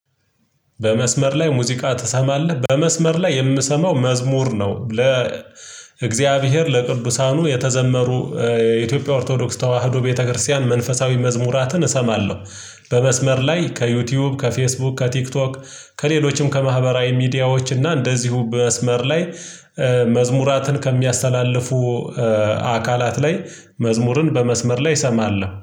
በመስመር ላይ ሙዚቃ ትሰማለህ? በመስመር ላይ የምሰማው መዝሙር ነው ለ እግዚአብሔር ለቅዱሳኑ የተዘመሩ የኢትዮጵያ ኦርቶዶክስ ተዋህዶ ቤተክርስቲያን መንፈሳዊ መዝሙራትን እሰማለሁ። በመስመር ላይ ከዩቲዩብ ከፌስቡክ ከቲክቶክ ከሌሎችም ከማህበራዊ ሚዲያዎች እና እንደዚሁ በመስመር ላይ መዝሙራትን ከሚያስተላልፉ አካላት ላይ መዝሙርን በመስመር ላይ እሰማለሁ